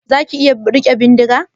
Zaka iya rike bindiga?